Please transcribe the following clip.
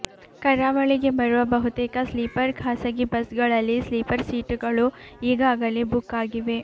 ಕರಾವಳಿಗೆ ಬರುವ ಬಹುತೇಕ ಸ್ಲೀಪರ್ ಖಾಸಗಿ ಬಸ್ ಗಳಲ್ಲಿ ಸ್ಲೀಪರ್ ಸೀಟು ಗಳು ಈಗಾಗಲೇ ಬುಕ್ ಆಗಿವೆ